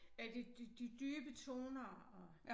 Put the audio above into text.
At de de de dybe toner og